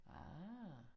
Ah